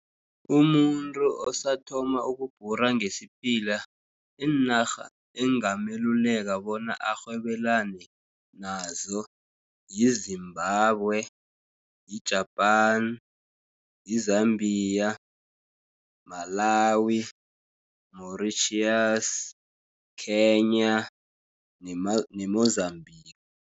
Umuntu osathoma ukubhura ngesiphila, iinarha engameluleka bona arhwebelane nazo, yi Zimbabwe, yi-Japan, i-Zambia, Malawi, Mauritius, Khenya ne-Mozambique.